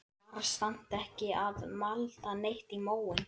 Var samt ekki að malda neitt í móinn.